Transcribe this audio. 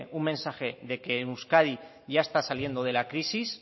un mensaje de que euskadi ya está saliendo de la crisis